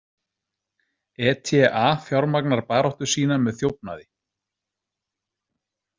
ETA fjármagnar baráttu sína með þjófnaði.